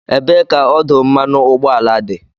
Ebee ka ọdụ mmanụ ụgbọala dị?